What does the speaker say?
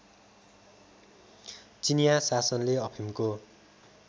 चिनियाँ शासनले अफिमको